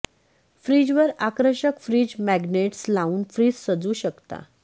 fridge वर आकर्षक fridge magnets लावून फ्रिज सजवू शकता